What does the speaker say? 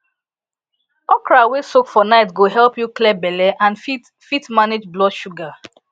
okra wey soak for night go help you clear belle and fit fit manage blood sugar